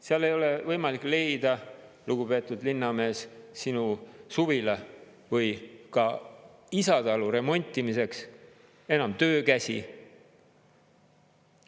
Seal ei ole võimalik leida, lugupeetud linnamees, sinu suvila või ka isatalu remontimiseks enam töökäsi.